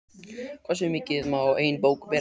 Hversu mikið má ein bók bera?